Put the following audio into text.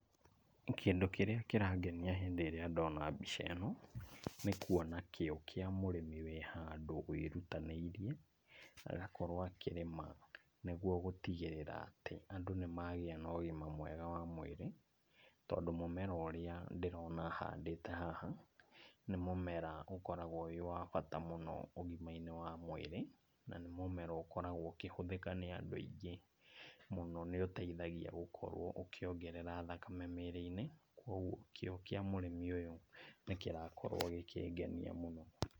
Kĩndũ kĩrĩa kĩrangenia hĩndĩ ĩrĩa ndona mbica ĩno, nĩ kuona kĩo kĩa mũrĩmi wĩ handũ wĩrutanĩirie, agakorwo akĩrĩma nĩguo gũtigĩrĩra atĩ andũ nĩ magĩa na ũgima mwega wa mwĩrĩ, tondũ mũmera ũrĩa ndĩrona ahandĩte haha nĩ mũmera ũkoragwo wĩ wa bata mũno ũgima-inĩ wa mwĩrĩ, na nĩ mũmera ũkoragwo ũkĩhũthĩka nĩ andũ aingĩ. Mũno nĩũteithagia gũkorwo ũkĩongerera thakame mwĩrĩ-inĩ, kuoguo kĩo kĩa mũrĩmi ũyũ nĩkĩrakorwo gĩkĩngenia mũno.